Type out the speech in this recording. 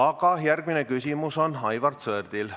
Aga järgmine küsimus on Aivar Sõerdil.